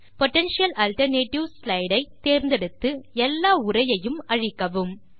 potential alternatives slide ஐ தேர்ந்தெடுத்து எல்லா உரையையும் அழிக்கவும்